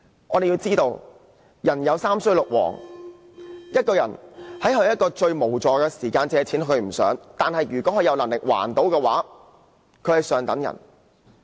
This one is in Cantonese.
我們要知道，"人有三衰六旺"，一個人在最無助的時候借錢，其實他並不想這樣，但如果他有能力還款，便是上等人。